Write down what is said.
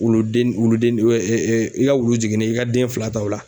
Wulu den wulu den i ka wulu jiginna i ka den fila ta o la